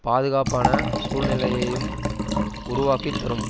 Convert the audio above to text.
பாதுகாப்பான சூழ்நிலையையும் உருவாக்கித் தரும்